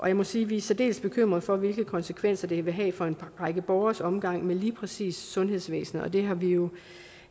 jeg må sige at vi er særdeles bekymret for hvilke konsekvenser det vil have for en række borgeres omgang med lige præcis sundhedsvæsenet og det har vi jo